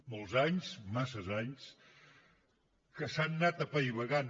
molts anys massa anys que s’han anat apaivagant